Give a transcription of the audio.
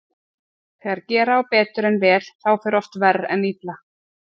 Þegar gera á betur en vel þá fer oft verr en illa.